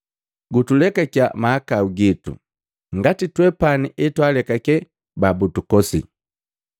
Gutulekakiya mahakau gitu, ngati twepani etwalekake babutukosi.